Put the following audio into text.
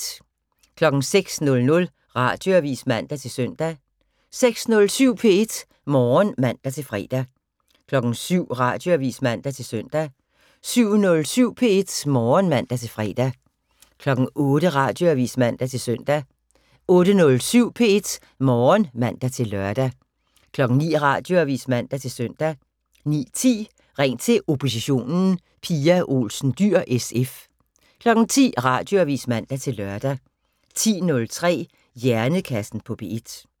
06:00: Radioavis (man-søn) 06:07: P1 Morgen (man-fre) 07:00: Radioavis (man-søn) 07:07: P1 Morgen (man-fre) 08:00: Radioavis (man-søn) 08:07: P1 Morgen (man-lør) 09:00: Radioavis (man-søn) 09:10: Ring til oppositionen: Pia Olsen Dyhr (SF) 10:00: Radioavis (man-lør) 10:03: Hjernekassen på P1